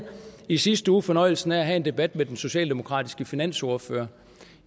i sidste uge fornøjelsen af at have en debat med den socialdemokratiske finansordfører